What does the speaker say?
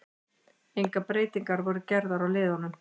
Engar breytingar voru gerðar á liðunum.